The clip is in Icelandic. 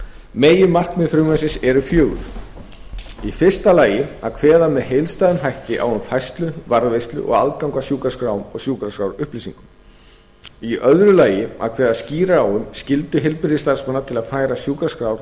meginmarkmið frumvarpsins eru fjögur fyrstu að kveða með heildstæðum hætti á um færslu varðveislu og aðgang að sjúkraskrám og sjúkraskrárupplýsingum annars að kveða skýrar á um skyldu heilbrigðisstarfsmanna til að færa sjúkraskrár